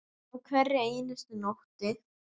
Á hverri einustu nóttu.